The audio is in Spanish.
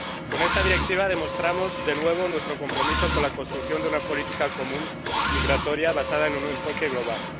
Con esta directiva demostramos de nuevo nuestro compromiso con la construcción de una política migratoria común, basada en un enfoque global.